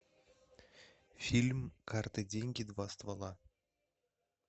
фильм карты деньги два ствола